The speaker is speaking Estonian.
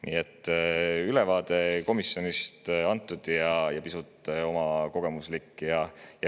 Nii et ülevaade komisjoni on antud, ja pisut oma kogemusi.